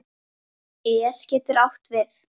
es getur átt við